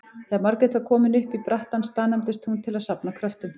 Þegar Margrét var komin upp í brattann staðnæmdist hún til að safna kröftum.